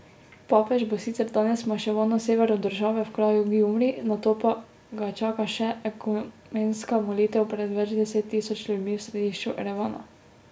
Papež bo sicer danes maševal na severu države v kraju Gjumri, nato pa ga čaka še ekumenska molitev pred več deset tisoč ljudmi v središču Erevana.